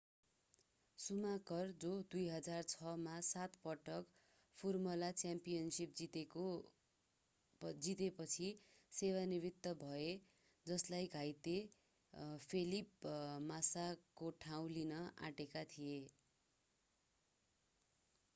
Schumacher जो 2006 मा सात पटक फर्मुला 1 च्याम्पियनसिप जितेपछि सेवा निवृत्त भए जसले घाइते फेलिप मास्साको ठाउँ लिन आँटेका थिए